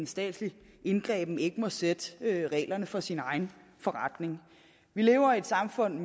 statslig indgriben ikke må sætte reglerne for sin egen forretning vi lever i et samfund